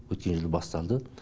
өткен жылы басталды